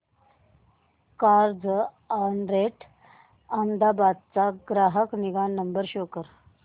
Carzonrent Ahmedabad चा ग्राहक निगा नंबर शो कर